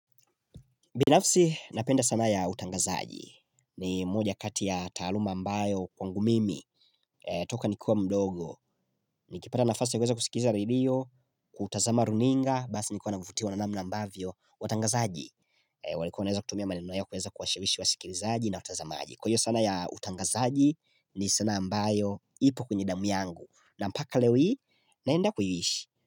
Binafsi napenda sanaa ya utangazaji. Ni moja kati ya taaluma ambayo kwangu mimi toka nikiwa mdogo. Nikipata nafasi ya kuweza kusikiliza radio, kutazama runinga, basi nilikuwa navutiwa na namna ambavyo watangazaji. Walikuwa wanaweza kutumia maneno yao kuweza kuwashawishi wasikilizaji na watazamaji. Kwa hiyo sanaa ya utangazaji ni sanaa ambayo ipo kwenye damu yangu. Na mpaka leo hii naenda kuiishi.